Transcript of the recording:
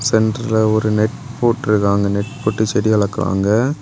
சென்ட்டர்ல ஓரு நெட் போட்ருக்காங்க நெட் போட்டு செடி வளக்குறாங்க.